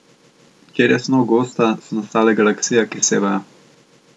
Kjer je snov gosta, so nastale galaksije, ki sevajo.